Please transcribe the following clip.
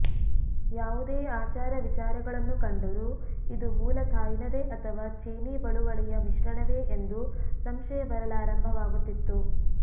ಯಾವುದೆ ಆಚಾರ ವಿಚಾರಗಳನ್ನು ಕಂಡರೂ ಇದು ಮೂಲ ಥಾಯ್ನದೆ ಅಥವಾ ಚೀನಿ ಬಳುವಳಿಯ ಮಿಶ್ರಣವೆ ಎಂದು ಸಂಶಯ ಬರಲಾರಂಭವಾಗುತಿತ್ತು